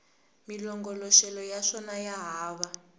malongoloxelo ya swona ya hava